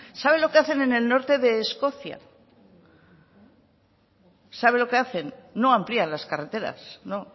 saben lo que hacen en el norte de escocia saben lo que hacen no amplían las carreteras no